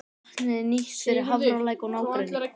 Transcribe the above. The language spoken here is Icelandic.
Vatnið er nýtt fyrir Hafralæk og nágrenni.